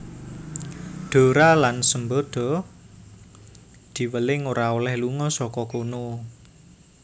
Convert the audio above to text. Dora lan Sambada diweling ora olèh lunga saka kono